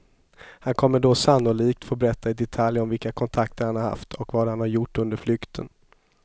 Han kommer då sannolikt få berätta i detalj om vilka kontakter han har haft och vad han har gjort under flykten.